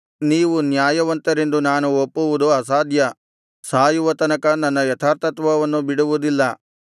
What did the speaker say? ನೀವು ನ್ಯಾಯವಂತರೆಂದು ನಾನು ಒಪ್ಪುವುದು ಅಸಾಧ್ಯ ಸಾಯುವ ತನಕ ನನ್ನ ಯಥಾರ್ಥತ್ವವನ್ನು ಬಿಡುವುದಿಲ್ಲ